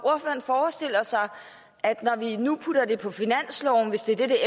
han forestiller sig at når vi nu putter det på finansloven hvis det er det det